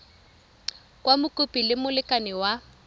kwa mokopi le molekane wa